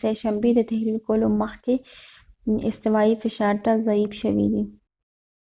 سه شنبې تحلیل کولو مخکې استوایی فشار ته ضعیف شوي